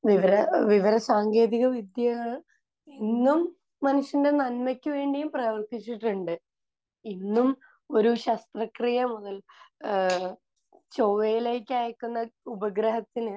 വിവര...വിവരസാങ്കേതികവിദ്യ ഇന്നും മനുഷ്യന്റെ നന്മക്ക് വേണ്ടിയും പ്രവർത്തിച്ചിട്ടുണ്ട്. ഇന്നും ഒരു ശസ്ത്രക്രിയ മുതൽ ഏഹ് ചൊവ്വയിലേക്കയക്കുന്ന ഉപഗ്രഹത്തിന്